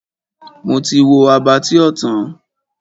Mo ti wo Abattoir tán.